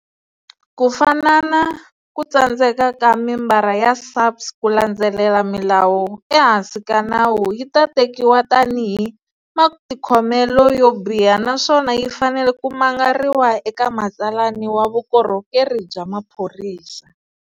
Ku fana na, ku tsandzeka ka membara ya SAPS ku landzelela milawu ehansi ka nawu yi ta tekiwa tanihi matikhomelo yo biha naswona yi fanele ku mangariwa eka matsalani wa vukhorhokeri bya maphorisa.